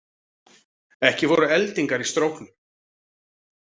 Ekki voru eldingar í stróknum